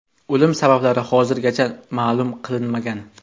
O‘lim sabablari hozirgacha ma’lum qilinmagan.